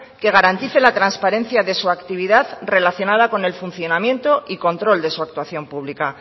que garantice la transparencia de su actividad relacionada con el funcionamiento y control de su actuación pública